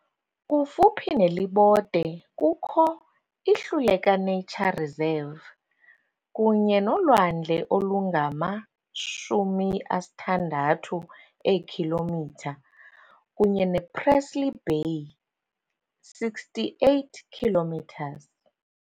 Kufuphi neLibode kukho, iHluleka Nature Reserve, kunye nolwandle olungama-60 eekhilometha kunye nePresely Bay, 68 kilometres.